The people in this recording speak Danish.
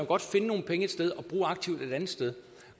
godt finde nogle penge et sted og bruge aktivt et andet sted